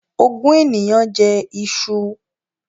Ogún ènìyàn jẹ iṣu